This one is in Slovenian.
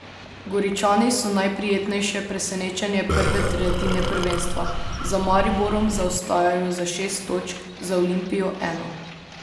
Goričani so najprijetnejše presenečenje prve tretjine prvenstva, za Mariborom zaostajajo za šest točk, za Olimpijo eno.